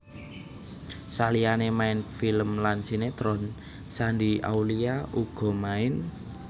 Saliyane main film lan sinetron Shandy Aulia uga main